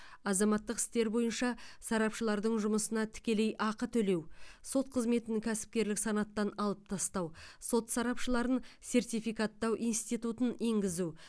азаматтық істер бойынша сарапшылардың жұмысына тікелей ақы төлеу сот қызметін кәсіпкерлік санаттан алып тастау сот сарапшыларын сертификаттау институтын енгізу